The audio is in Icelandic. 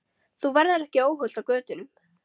Þú verður ekki óhult á götunum.